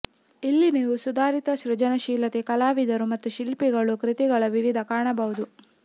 ಇಲ್ಲಿ ನೀವು ಸುಧಾರಿತ ಸೃಜನಶೀಲತೆ ಕಲಾವಿದರು ಮತ್ತು ಶಿಲ್ಪಿಗಳು ಕೃತಿಗಳ ವಿವಿಧ ಕಾಣಬಹುದು